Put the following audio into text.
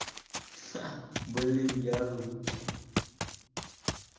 ха блин я ору